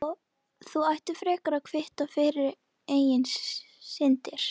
Þú ættir frekar að kvitta fyrir eigin syndir.